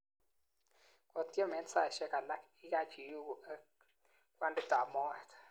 Kottiem en saishek alak, ikach iyuuuku ak kwanditap moet